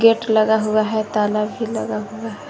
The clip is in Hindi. लगा हुआ है ताला भी लगा हुआ है।